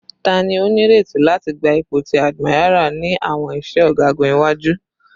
Tani o nireti lati gba ipo ti admiral ni awọn iṣẹ ọgagun iwaju?